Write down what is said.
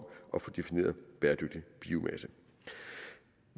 at få defineret bæredygtig biomasse